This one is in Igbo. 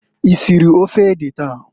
Isiri ofe ede taa?